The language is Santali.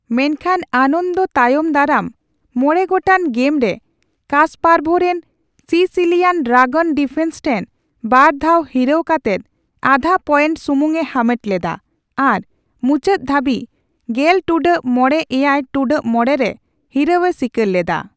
ᱢᱮᱱᱠᱷᱟᱱ ᱟᱱᱚᱱᱫᱚ ᱛᱟᱭᱚᱢ ᱫᱟᱨᱟᱢ ᱢᱚᱲᱮ ᱜᱚᱴᱟᱝ ᱜᱮᱢ ᱨᱮ ᱠᱟᱥᱯᱟᱨᱵᱷ ᱨᱮᱱ ᱥᱤᱥᱤᱞᱤᱭᱟᱱ ᱰᱨᱟᱜᱚᱱ ᱰᱤᱯᱷᱮᱱᱥ ᱴᱷᱮᱱ ᱵᱟᱨ ᱫᱷᱟᱣ ᱦᱤᱨᱟᱹᱣ ᱠᱟᱛᱮᱫ ᱟᱫᱷᱟ ᱯᱭᱮᱱᱴ ᱥᱩᱢᱩᱝ ᱮ ᱦᱟᱢᱮᱴ ᱞᱮᱫᱟ ᱟᱨ ᱢᱩᱪᱟᱹᱫ ᱫᱷᱟᱹᱵᱤᱡ ᱜᱮᱞ ᱴᱩᱰᱟᱹᱜ ᱢᱚᱲᱮ ᱼᱮᱭᱟᱭ ᱴᱩᱰᱟᱹᱜ ᱢᱚᱲᱮ ᱨᱮ ᱦᱤᱨᱟᱹᱣ ᱮ ᱥᱤᱠᱟᱨ ᱞᱮᱫᱟ ᱾